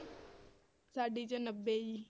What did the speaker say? ਸਾਡੀ ਚ ਨੱਬੇ ਜੀ।